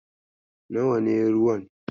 Nawa ne ruwan?